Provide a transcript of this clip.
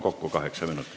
Kokku kaheksa minutit.